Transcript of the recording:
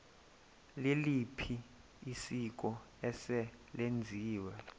liliphi isiko eselenziwe